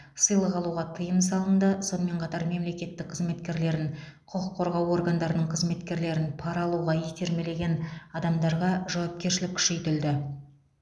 сыйлық алуға тыйым салынды сонымен қатар мемлекеттік қызметкерлерін құқық қорғау органдарының қызметкерлерін пара алуға итермелеген адамдарға жауапкершілік күшейтілді